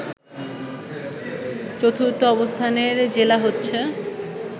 চতুর্থ অবস্থানের জেলা হচ্ছে